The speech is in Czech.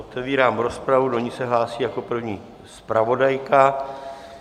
Otevírám rozpravu, do ní se hlásí jako první zpravodajka.